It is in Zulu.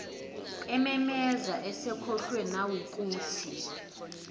ememeza esekhohlwe nawukuthi